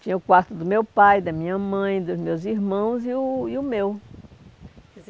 Tinha o quarto do meu pai, da minha mãe, dos meus irmãos e o e o meu. Quer dizer,